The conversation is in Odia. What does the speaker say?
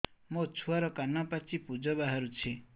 ମୋ ଛୁଆର କାନ ପାଚି ପୁଜ ବାହାରୁଛି